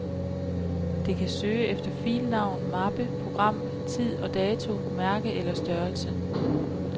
Det kan søge efter filnavn, mappe, program, tid og dato, mærke eller størrelse.